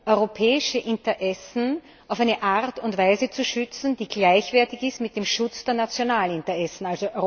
europäische Interessen auf eine Art und Weise zu schützen, die gleichwertig ist mit dem Schutz der nationalen Interessen.